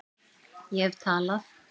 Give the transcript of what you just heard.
Ég hef talað